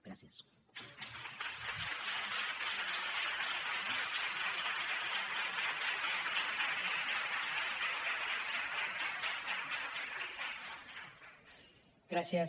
gràcies